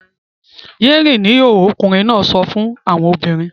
Yé rìn ní ìhòhò! ọkùnrin náà sọ fún àwọn obìnrin.